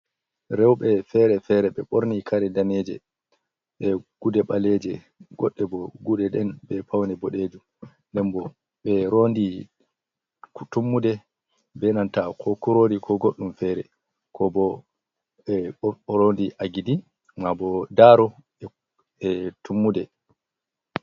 Rewɓe feere-feere ɓe ɓorni kare daneeje, e gude ɓaleeje. Goɗɗe bo gude ɗen, be paune boɗejum. Nden bo, ɓe rondi tummude be nanta ko kuroori ko goɗɗum feere. Ko bo, ɓe rondi agidi, maa bo daro e tummude.